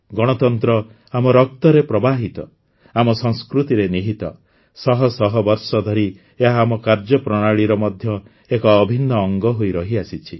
ଗଣତନ୍ତ୍ର ଆମ ରକ୍ତରେ ପ୍ରବାହିତ ଆମ ସଂସ୍କୃତିରେ ନିହିତ ଶହ ଶହ ବର୍ଷ ଧରି ଏହା ଆମ କାର୍ଯ୍ୟପ୍ରଣାଳୀର ମଧ୍ୟ ଏକ ଅଭିନ୍ନ ଅଙ୍ଗ ହୋଇ ରହିଆସିଛି